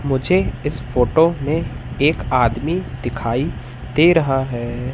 मुझे इस फोटो में एक आदमी दिखाई दे रहा है।